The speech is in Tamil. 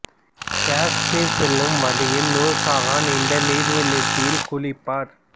காஷ்மீர் செல்லும் வழியில் நூர் சஹான் இந்த நீர்வீழ்ச்சியில் குளிப்பார்